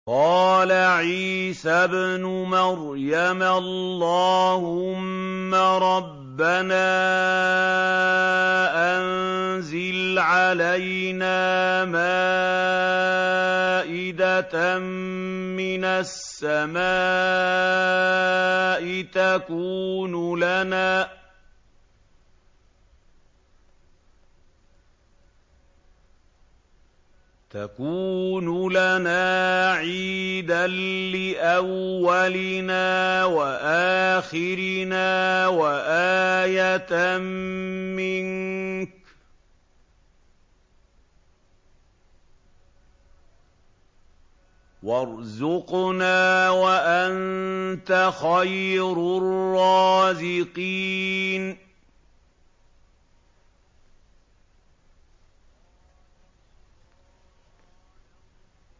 قَالَ عِيسَى ابْنُ مَرْيَمَ اللَّهُمَّ رَبَّنَا أَنزِلْ عَلَيْنَا مَائِدَةً مِّنَ السَّمَاءِ تَكُونُ لَنَا عِيدًا لِّأَوَّلِنَا وَآخِرِنَا وَآيَةً مِّنكَ ۖ وَارْزُقْنَا وَأَنتَ خَيْرُ الرَّازِقِينَ